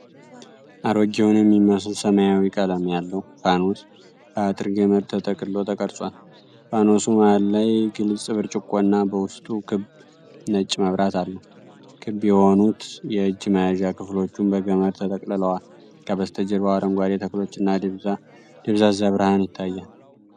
አሮጌውን የሚመስል ሰማያዊ ቀለም ያለው ፋኖስ በአጥር ገመድ ተጠቅልሎ ተቀርጿል። ፋኖሱ መሃሉ ላይ ግልጽ ብርጭቆና በውስጡ ክብ ነጭ መብራት አለው። ክብ የሆኑት የእጅ መያዣ ክፍሎችም በገመድ ተጠቅልለዋል። ከበስተጀርባው አረንጓዴ ተክሎችና ደብዛዛ ብርሃን ይታያል።